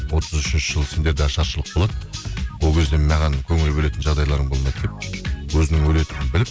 отыз үшінші жылы сендерде ашаршылық болады ол кезде маған көңіл бөлетін жағдайларың болмайды деп өзінің өлетінін біліп